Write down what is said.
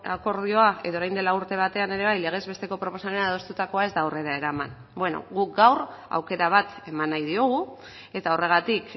akordioa edo orain dela urte batean ere bai legez besteko proposamena adostutakoa ez da aurrera eraman bueno guk gaur aukera bat eman nahi diogu eta horregatik